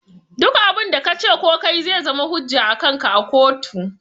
Duk abun da kace ko kayi zai zama hujja akanka a kotu